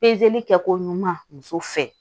kɛ koɲuman muso fɛ